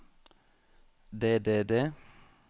det det det